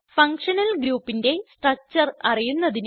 functional ഗ്രൂപ്പിന്റെ structure അറിയുന്നതിന്